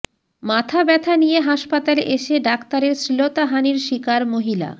মাথা ব্যথা নিয়ে হাসপাতালে এসে ডাক্তারের শ্লীলতাহানির শিকার মহিলা